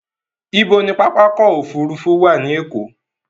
Ibo ni pápákọ̀ òfurufú wà ní Èkó?